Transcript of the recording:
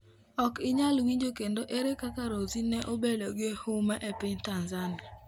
Ok inyal winjo kendo ere kaka Rozie ne obedo gi huma e piny Tanzania?